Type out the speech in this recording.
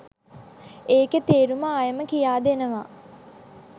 ඒකෙ තේරුම ආයෙම කියාදෙනවා